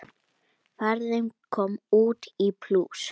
Ferðin kom út í plús.